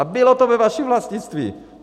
A bylo to ve vašem vlastnictví!